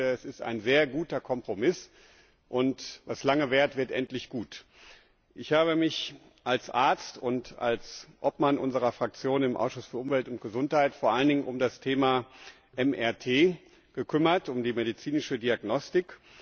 Es ist ein sehr guter Kompromiss, und was lange währt, wird endlich gut! Ich habe mich als Arzt und als Obmann unserer Fraktion im Ausschuss für Umwelt und Gesundheit vor allen Dingen um das Thema MRT gekümmert, um die medizinische Diagnostik.